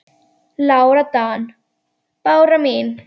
Lára Dan. Bára mín.